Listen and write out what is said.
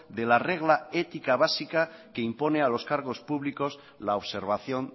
de la regla ética básica que impone a los cargos públicos la observación